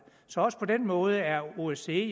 så også på den måde er osce